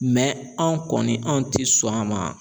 Mɛ anw kɔni anw tɛ sɔn a ma